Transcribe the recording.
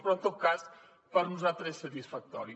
però en tot cas per nosaltres és satisfactori